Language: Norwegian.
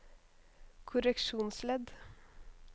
korreksjonsledd